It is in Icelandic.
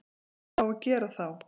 Hvað á að gera þá?